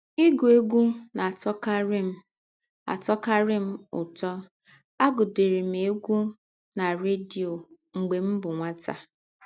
Ịgụ egwụ na - atọkarị m - atọkarị m ụtọ, agụdịrị m egwụ na rediọ mgbe m bụ nwata.